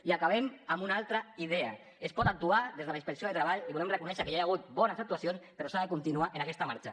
i acabem amb una altra idea es pot actuar des de la inspecció de treball i volem reconèixer que ja hi ha hagut bones actuacions però s’ha de continuar amb aquesta marxa